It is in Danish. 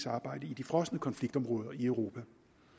arbejde i de frosne konfliktområder i europa